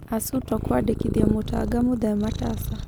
Asuto kũandĩkithia Mũtanga mũthee Matasa.